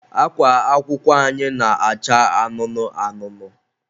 akwa akwụkwọ anyị na-acha anụnụ anụnụ.